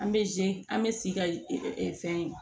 An bɛ an bɛ sigi ka fɛn